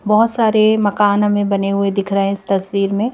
बहोत सारे मकान हमें बने हुए दिख रहे हैं इस तस्वीर में --